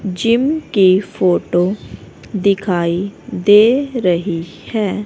Gym की photo दिखाई दे रही है।